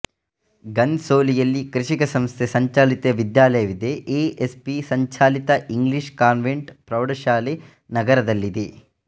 ಘನ್ ಸೋಲಿ ಯಲ್ಲಿ ಕೃಷಿಕ ಸಂಸ್ಥೆ ಸಂಚಾಲಿತ ವಿದ್ಯಾಲಯವಿದೆ ಎ ಎಸ್ ಪಿ ಸಂಚಾಲಿತ ಇಂಗ್ಲೀಷ್ ಕಾನ್ವೆಂಟ್ ಪ್ರೌಢಶಾಲೆ ನಗರದಲ್ಲಿದೆ